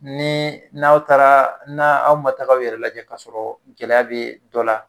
Ni n'aw taara n' aw ma taga aw yɛrɛ lajɛ kasɔrɔ gɛlɛya bɛ dɔ la